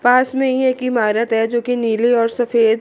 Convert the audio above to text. पास में ही एक इमारत है जो कि नीली और सफ़ेद--